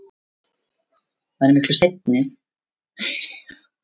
Þá prófaði ég að gúggla læðing og fann orðasambandið laum og læðingur á vef Árnastofnunar.